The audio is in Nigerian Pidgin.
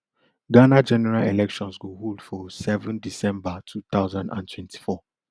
ghana general elections go hold fo seven december two thousand and twenty-four